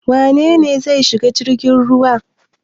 Wane ne zai shiga jirgin ruwa?